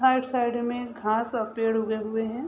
हर side में घास और पेड़ उगे हुए है।